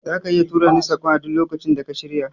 Zaka iya turani saƙon a duk lokacin da ka shirya